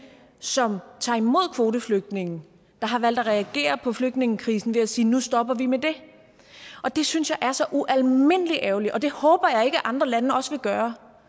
som tager imod kvoteflygtninge der har valgt at reagere på flygtningekrisen ved at sige at nu stopper vi med det og det synes jeg er så ualmindelig ærgerligt og det håber jeg ikke at andre lande også vil gøre